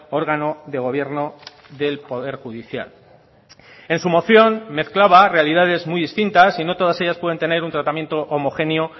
órgano de gobierno del poder judicial en su moción mezclaba realidades muy distintas y no todas ellas pueden tener un tratamiento homogéneo